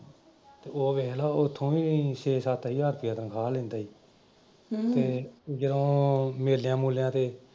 ਉਹ ਵੇਖਲਾ ਉਥੋਂ ਵੀ ਛੇ ਸੱਤ ਹਜਾਰ ਰੁਪਈਆ ਤਨਖ਼ਾਹ ਲੈਂਦਾ ਸੀ . ਤੇ ਜਦੋਂ ਮੇਲਿਆਂ ਮੂਲਿਆਂ ਤੇ।